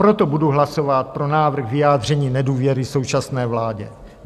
Proto budu hlasovat pro návrh vyjádření nedůvěry současné vládě.